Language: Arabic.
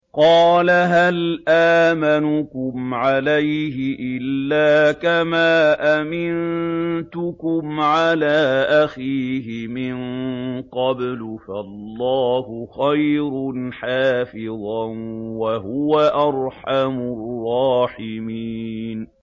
قَالَ هَلْ آمَنُكُمْ عَلَيْهِ إِلَّا كَمَا أَمِنتُكُمْ عَلَىٰ أَخِيهِ مِن قَبْلُ ۖ فَاللَّهُ خَيْرٌ حَافِظًا ۖ وَهُوَ أَرْحَمُ الرَّاحِمِينَ